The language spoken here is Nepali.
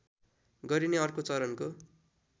गरिने अर्को चरणको